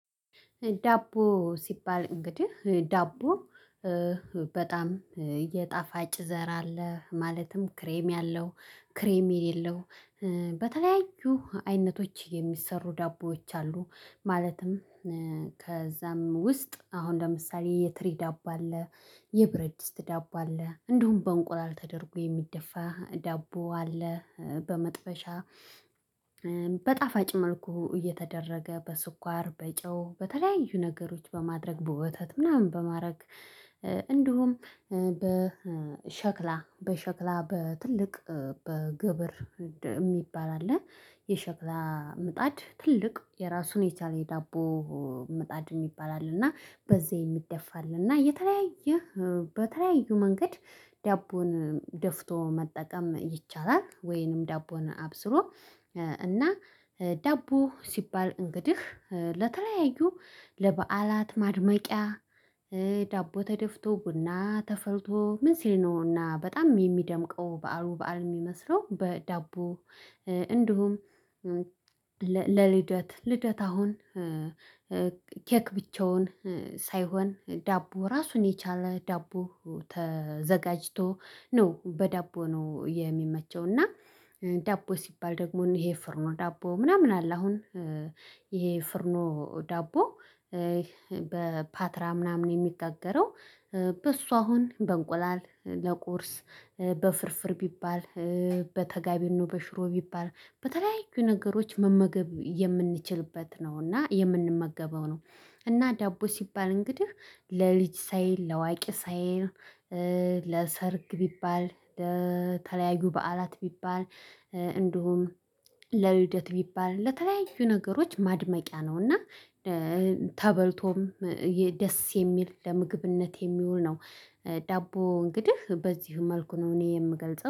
ዳቦ ሲባል እንግዲህ ዳቦ በጣም የጣፋጭ ዘር አለ ማለትም ክሬም ያለው ክሬም የሌለው በተለያዩ አይነቶች የሚሰሩ ዳቦዎች አሉ። ማለትም ከዛም ውስጥ አሁን ለምሳሌ የትሪ ዳቦ አለ። የብረድ ድስት ዳቦ አለ እንዲሁም በእንቁላል ተደርጎ የሚደፋ ዳቦ አለ። በመጥበሻ በጣፋጭ መልኩ እየተደረገ በስኳር በጨው በተለያዩ ነገሮች በማድረግ በወተት ምናምን በማድረግ። እንዲሁም በሸክላ በትልቅ በግብር የሚባል አለ። የሸክላ ምጣድ ትልቅ የራሱን የቻለ የዳቦ ምጣድን ይባላል። እና በዚህ የሚደፋል እና የተለያየ በተለያዩ መንገድ ዳቦን ደፍቶ መጠቀም ይቻላል። ወይንም ዳቦን አብስሎ እና ዳቦ ሲባል እንግዲህ ለተለያዩ ለበዓላት ማድመቂያ ዳቦ ተደፍቶ ቡና ተፈርቶ ምን ሲል ነውና በጣም የሚደምቀው በዓሉ በዓል የሚመስለው በዳቦ። እንዲሁም ለልደት ልደት አሁን ኬክ ብቻውን ሳይሆን ዳቦ ራሱን የቻለ ዳቦ ተዘጋጅቶ ነው። በዳቦ ነው የሚመቸው። እና ዳቦ ሲባል ደግሞ ይሄ ፍርኖ ዳቦ ምናምን አለ። አሁን ይሄ ፍርኖ ዳቦ በፓትራም ምናምን የሚታገረው በሷ አሁን በእንቁላል ለቁርስ በፍርፍር ቢባል በተጋቢኖ በሽሮ ቢባል በተለያዩ ነገሮች መመገብ የምንችልበት ነው። እና የምንመገበው ነው። እና ዳቦ ሲባል እንግዲህ ለልጅ ሳይል ለዋቂ ሳይል ለሰርግ ቢባል ለተለያዩ በዓላት ቢባል እንደውም ለልደት ቢባል ለተለያዩ ነገሮች ማድመቂያ ነው። እና ተበልቶም ደስ የሚል ለምግብነት የሚውል ነው። ዳቦ እንግዲህ በዚህ መልኩ ነው እኔ የምገልጸው